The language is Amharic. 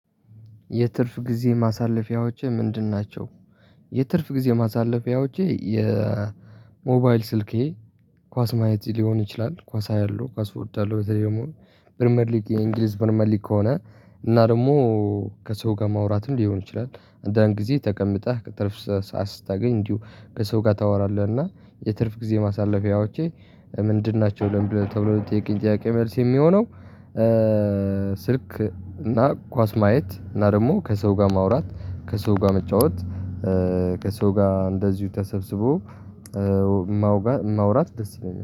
የትርፍ ጊዜ ማሳለፊያዎቼ ምንድን ናቸ? የትርፍ ጊዜ ማሳለፊያዎቼ የሞባይል ስልኬ ኳስ ማየት ሊሆን ይችላል ኳስ አያለሁ ኳስ እወዳለሁ በተለይ ደግሞ ፕሪመር ሊግ የእንግሊዝ ፕሪሚየር ሊግ ከሆነ እና ደግሞ ከሰው ጋር ማውራትም ሊሆን ይችላል አንዳንድ ጊዜ ተቀምጠህ ትርፍ ሰዓት ስታገኝ እንዲሁ ከሰው ጋር ታወራለህ እና የትርፍ ጊዜ ማሳለፊያዎቼ ምንድን ናቸው ለምን ብለህ ተብሎ ለጥያቄ ጥያቄ መልስ የሚሆነው ስልክ እና ኳስ ማየት እና ደግሞ ከሰው ጋር ማውራት ከሰው ጋር መጫወት ከሰው ጋር እንደዚሁ ተሰብስቦ ማውራት ደስ ይለኛል።